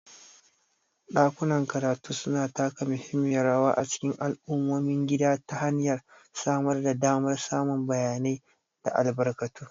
Ɗakunan karatu suna taka muhimmiyar rawa a cikin al'ummomin gida ta hanyar samar da damar samun bayanai da albarkatu.